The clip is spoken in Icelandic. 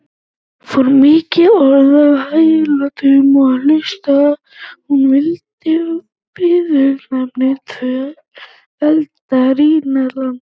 fór mikið orð af hildegard og hlaut hún viðurnefnið völva rínarlanda